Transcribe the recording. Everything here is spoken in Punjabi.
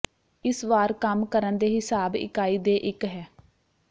ਇਸ ਵਾਰ ਕੰਮ ਕਰਨ ਦੇ ਹਿਸਾਬ ਇਕਾਈ ਦੇ ਇੱਕ ਹੈ